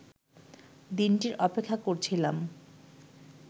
দিনটির অপেক্ষা করছিলাম